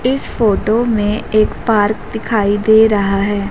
इस फोटो में एक पार्क दिखाई दे रहा है।